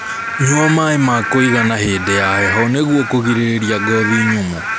Nyua maĩ ma kuigana hĩndĩ ya heho nĩguo kũgirĩrĩrĩa ngothi nyumu